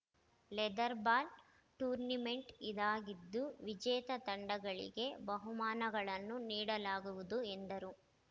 leather ball tournament ಇದಾಗಿದ್ದು ವಿಜೇತ ತಂಡಗಳಿಗೆ ಬಹುಮಾನಗಳನ್ನೂ ನೀಡಲಾಗುವುದು ಎಂದರು